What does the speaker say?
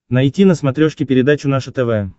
найти на смотрешке передачу наше тв